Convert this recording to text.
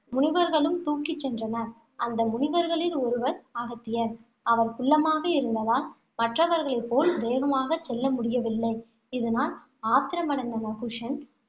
முனிவர்களும் தூக்கிச் சென்றனர். அந்த முனிவர்களில் ஒருவர் அகத்தியர். அவர் குள்ளமாக இருந்ததால், மற்றவர்களைப் போல் வேகமாகச் செல்ல முடியவில்லை. இதனால் ஆத்திரமடைந்த நஹுஷன்,